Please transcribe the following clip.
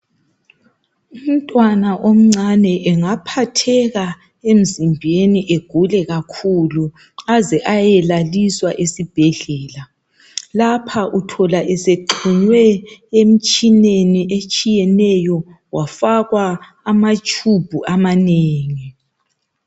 Umntwana omncane engaphatheka kakhulu emzimbeni aze ayelaliswa esibhedlela, lapho uthola esexunywe emtshineni ehlukehlukeneyo wafakwa amatshubhu atshiyeneyo.